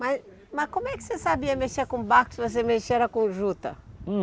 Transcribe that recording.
Mas mas como é que você sabia mexer com barco, se você mexia era com juta?